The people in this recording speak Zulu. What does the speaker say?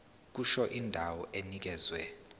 kusho indawo enikezwe